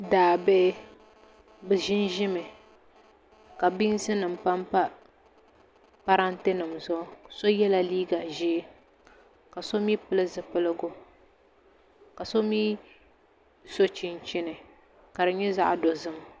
Daabihi bi ʒinʒimi ka biinsi nim panpa parantɛ nim zuɣu so yɛla liiga ʒiɛ ka so mii pili zipiligu ka so mii so chinchini ka di nyɛ zaɣ dozim